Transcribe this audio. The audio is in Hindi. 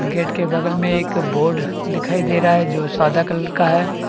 गेट के बगल में एक बोर्ड दिखाई दे रहा है जो सादा कलर का है।